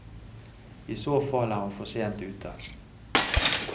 I så fall er hun for sent ute.